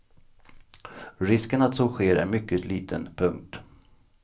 Risken att så sker är mycket liten. punkt